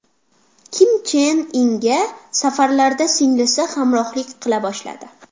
Kim Chen Inga safarlarda singlisi hamrohlik qila boshladi.